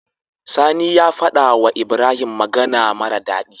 Sani ya faɗa wa ibrahim magAna mara dadi